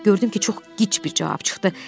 Gördüm ki, çox qıç bir cavab çıxdı.